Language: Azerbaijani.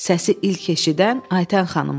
Səsi ilk eşidən Aytən xanım oldu.